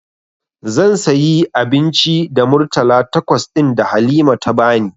Zan sayi abinci da Murtala takwas ɗin da Halima ta bani.